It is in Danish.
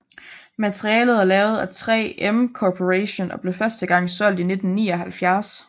Materialet er lavet af 3M Corporation og blev første gang solgt i 1979